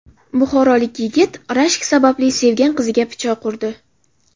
Buxorolik yigit rashk sababli sevgan qiziga pichoq urdi.